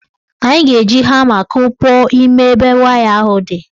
Anyị ga-eji hama kupuo ime ebe waya ahụ dị.